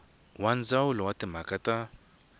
wa ndzawulo ya timhaka ta